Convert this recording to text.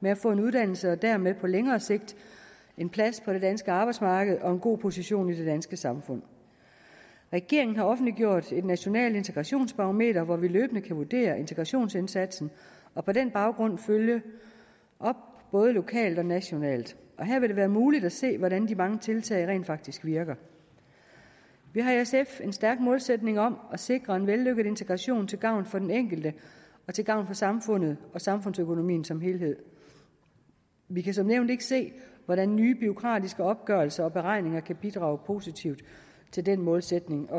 med at få en uddannelse og dermed på længere sigt en plads på det danske arbejdsmarked og en god position i det danske samfund regeringen har offentliggjort et nationalt integrationsbarometer hvor vi løbende kan vurdere integrationsindsatsen og på den baggrund følge op både lokalt og nationalt her vil det være muligt at se hvordan de mange tiltag rent faktisk virker vi har i sf en stærk målsætning om at sikre en vellykket integration til gavn for den enkelte og til gavn for samfundet og samfundsøkonomien som helhed vi kan som nævnt ikke se hvordan nye bureaukratiske opgørelser og beregninger kan bidrage positivt til den målsætning